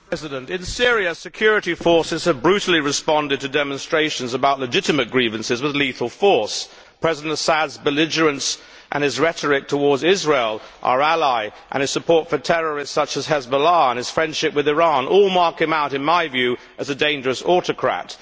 Mr President, in Syria, security forces have brutally responded to demonstrations about legitimate grievances with lethal force. President Assad's belligerence and his rhetoric towards Israel, our ally, his support for terrorists such as Hezbollah, and his friendship with Iran, all mark him out, in my view, as a dangerous autocrat.